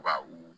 Ka u